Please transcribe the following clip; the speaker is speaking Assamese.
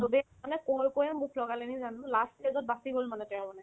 চবে মানে কৈ কৈয়ে মুখ লগালে নেকি জানো last stage ত বাচি গ'ল মানে তেওঁ মানে